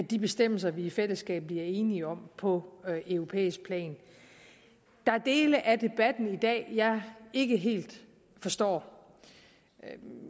de bestemmelser vi i fællesskab bliver enige om på europæisk plan der er dele af debatten i dag jeg ikke helt forstår jeg